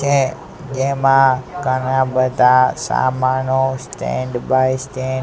જેમા ઘણા બધા સામનો સ્ટેન્ડ બાય સ્ટેન્ડ --